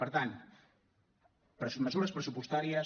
per tant mesures pressupostàries